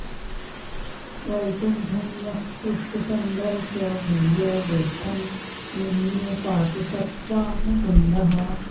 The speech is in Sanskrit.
वैकुण्ठं यः सुष्ठु सन्दर्श्य भूयो गोष्ठं निन्ये पातु स त्वां मुकुन्दः